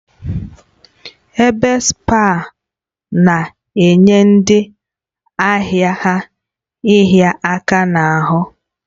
Ebe spaa na-enye ndị ahịa ha ịhịa aka n'ahụ